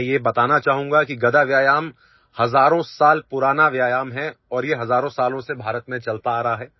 मैं यह बताना चाहूंगा कि गदा व्यायाम हजारों साल पुराना व्यायाम है और ये हजारों सालों से भारत में चलता आ रहा है